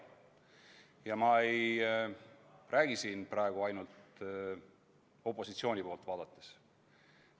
Ja ma ei räägi siin praegu ainult opositsiooni poolt vaadates.